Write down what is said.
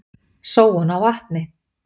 Sóun á vatni.